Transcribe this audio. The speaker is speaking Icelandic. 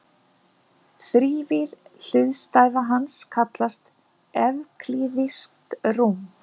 Þrívíð hliðstæða hans kallast evklíðskt rúm.